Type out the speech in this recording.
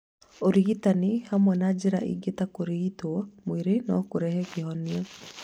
Ũrigitani ĩmwe na njĩra ingĩ ta kũrigitwo mwĩrĩ no kũrehe kĩhonia